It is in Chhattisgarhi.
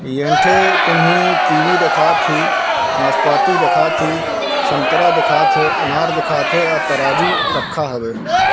ई ऐंठे तुमि कीवी दिखात ही नासपाती दिखात ही संतरा देखात हे अनार देखात हे अ तराजू रखा हवे।